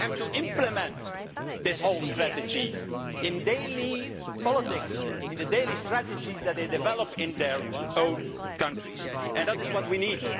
no, they have to implement this whole strategy in daily politics, in the daily strategies that they develop in their own countries and that is what we need.